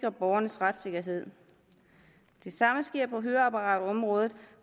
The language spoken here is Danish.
af borgernes retssikkerhed det samme sker på høreapparatområdet